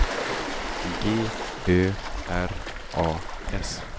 G Ö R A S